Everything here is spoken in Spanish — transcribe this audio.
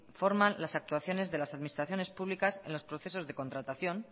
informan las actuaciones de las administraciones públicas en los procesos de contratación